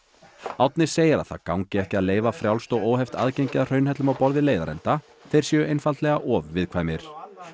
Árni segir að það gangi ekki að leyfa frjálst og óheft aðgengi að hraunhellum á borð við leiðarenda þeir séu einfaldlega of viðkvæmir